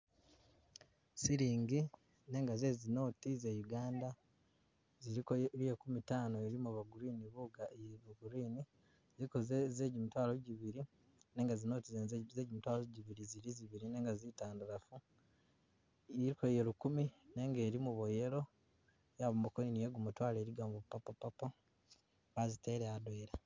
Silingi nenga ze zinoti ze Uganda ziliko iye bya nkumi tano ilimo bya green bugaali eeeh bwo green , iliko ze jimitwalo jibili nenga zinoti zene zejimitwalo jibili zili zibili nenga zitandalafu, iliko iye lukumi nenga ilimo bwa yellow, yabamo ne iye gumutwalo elikamo ne bwo purple purple, bazitela adwena.